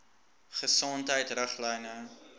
gesondheidriglyne